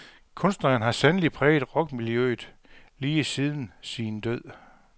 Kunstneren har sandelig præget rockmiljøet lige siden sin død.